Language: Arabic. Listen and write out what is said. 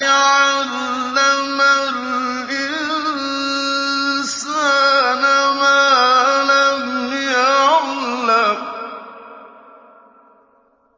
عَلَّمَ الْإِنسَانَ مَا لَمْ يَعْلَمْ